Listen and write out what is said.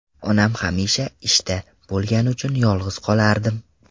Onam hamisha ishda bo‘lgani uchun yolg‘iz qolardim.